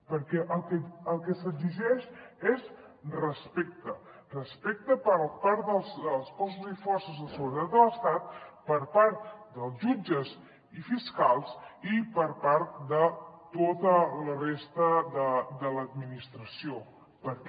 perquè el que s’exigeix és respecte respecte per part dels cossos i forces de seguretat de l’estat per part dels jutges i fiscals i per part de tota la resta de l’administració perquè